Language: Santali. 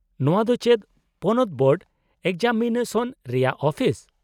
-ᱱᱚᱶᱟ ᱫᱚ ᱪᱮᱫ ᱯᱚᱱᱚᱛ ᱵᱳᱨᱰ ᱮᱠᱡᱟᱢᱤᱱᱮᱥᱚᱱ ᱨᱮᱭᱟᱜ ᱚᱯᱷᱤᱥ ?